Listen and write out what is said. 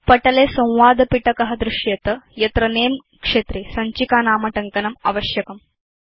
पटले संवादपिटक दृश्येत यत्र नमे क्षेत्रे सञ्चिकानामटङ्कनम् आवश्यकम्